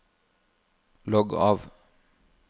logg av